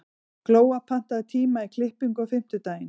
Glóa, pantaðu tíma í klippingu á fimmtudaginn.